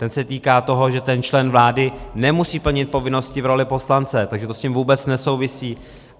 Ten se týká toho, že ten člen vlády nemusí plnit povinnosti v roli poslance, takže to s tím vůbec nesouvisí.